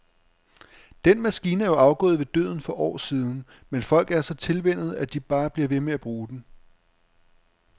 Den maskine er jo afgået ved døden for år siden, men folk er så tilvænnet, at de bare bliver ved med at bruge den.